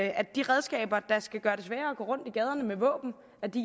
at de redskaber der skal gøre det sværere at gå rundt i gaderne med våben